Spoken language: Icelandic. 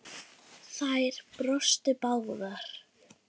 Þær brostu báðar.